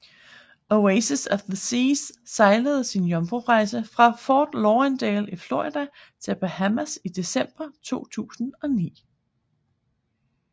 Oasis of the Seas sejlede sin jomfrurejse fra Fort Lauderdale i Florida til Bahamas i december 2009